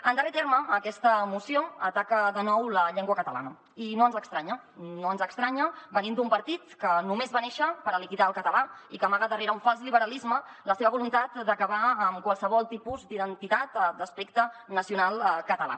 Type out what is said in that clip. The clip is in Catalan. en darrer terme aquesta moció ataca de nou la llengua catalana i no ens estranya no ens estranya venint d’un partit que només va néixer per liquidar el català i que amaga darrere un fals liberalisme la seva voluntat d’acabar amb qualsevol tipus d’identitat d’aspecte nacional català